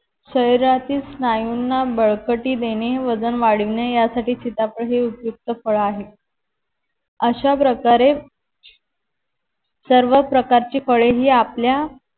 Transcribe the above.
शरीरातील स्नायूना बळकटी देणे वजन वाढविणे या साथी सिताफळ हे उपयुक्त फळ आहे अश्या प्रकारे सर्व प्रकारची फळे ही आपल्या